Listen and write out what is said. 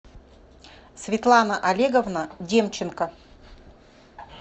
светлана олеговна демченко